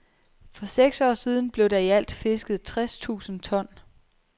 For seks år siden blev der i alt fisket tres tusind ton.